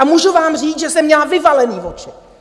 A můžu vám říct, že jsem měla vyvalený voči.